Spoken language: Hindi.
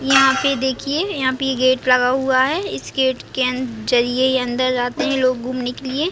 यहाँ पे देखिये यहाँ पे ये गेट लगा हुआ है इस गेट के अन जरिये अंदर आते है लोग घूमने के लिए।